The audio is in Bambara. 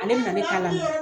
Ale bɛna ne ta lamɛn.